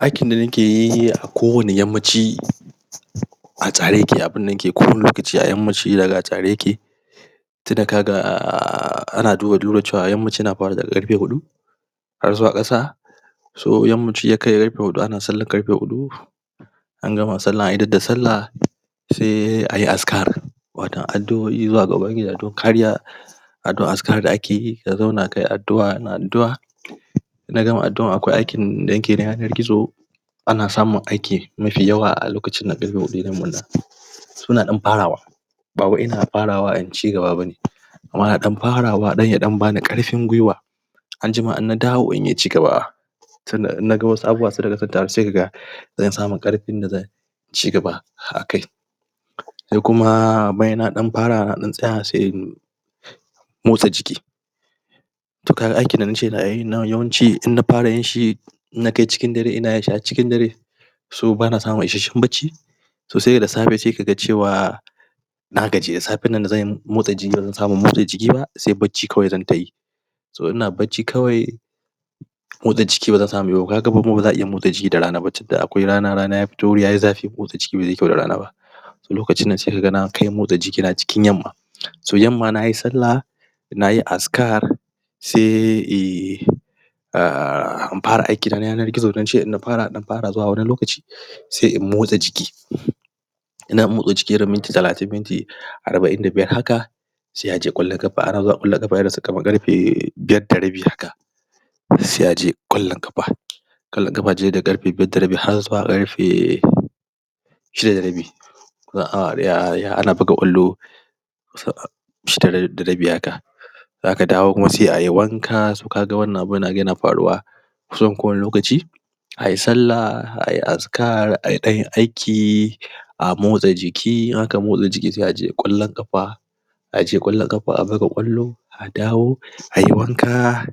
Aikin da nakeyi a kowane yammaci A tsare yake abunda nake kullum lokaci a yammaci zaga a tsare yake, Saida kaga um Ana duba duda cewa yammaci na fara daga karfe hudu Har zuwa ƙasa So yammaci yakai karfe hudu ana sallar karfe hudu An gama sallah an idar da sallah Sai ayi askar Watau adu'oi zuwa ga kariya adu'oi askar da akeyi ka zauna kai adu'oi ana adu'oi Inna gama adu'ar akwai wani aiki da nake na yanar gizo Ana samun aiki Mafi yawa a lokacinda Kuna dan farawa Bawai ina farawa in cigaba bane Amma ina dan farawa domin ya bani karfin guiwa Anjima in na dawo inyi cigaba Sanna in naga wasu abubuwa sun taru sai kaga Zan samu karfin da zan Cigaba akai Sai kuma bayan na dan fara nadan tsaya sai in Motsa jiki To kaga aikin da nace za'ayi nan yawanci in na fara yinshi In nakai jikin dare ina yinshi So bana samun isahsshen bacci So saida safe sai kaga cewa Na gaji da safen nan da zan Motsa jiki ban samu na motsa jiki ba Sai bacci kawai zantayi To ina bacci kawai Motsa jiki bazan samuinyi ba kaga kuma baza'a iya motsa jiki da rana ba tunda akwai rana rana ya fito yayi zafi motsa jiki bazai yi kwau da rana ba Lokacinnan sai kaga nakai motsa jiki na cikin yamma So yamma nayi sallah Nayi askar Sai Para aikina na yanar gizo da nace inna fara zuwa wani lokaci Sai in motsa jiki Ina motsa jiki minti talatin minti Arba'in da biyar haka Sai aje kwallon ƙafa ana zuwa kwallon ƙafa kamar irinsu ƙarfe Biyar da rabi haka Sai aje kwallon ƙafa kwallon ƙafa ce daga karfe biyar da rabi har zuwakarfe Shida da rabi Zuwa awa daya ana buka kwallo Shida da da rabi haka Zaka dawo kuma sai ayi wanka so kaga wannan abu yana faruwa Kusan kowane lokaci Ai sallah ai askar ai danyi aiki A motsa jiki in aka motsa jiki sai aje kwallon kafa Aje kwallon kafa a buga kwallo A dawo Ayi wanka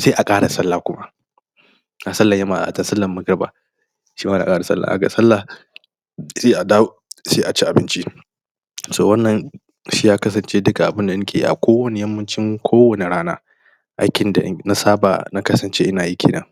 Sai a kara sallah kuma Da sallar yamma da sallar azahar ga sallah Sai a dawo Sai a ci abinci So wannan Shiya kasance duka abunda nakeyi a kowane yammacin kowane rana Aikin da na saba na kasance ina yi kenan